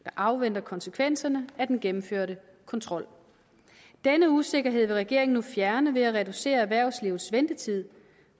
afventer konsekvenserne af den gennemførte kontrol denne usikkerhed vil regeringen nu fjerne ved at reducere erhvervslivets ventetid